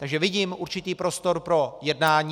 Takže vidím určitý prostor pro jednání.